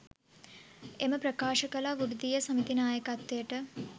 එම ප්‍රකාශ කළා වෘත්තීය සමිති නායකත්වයට.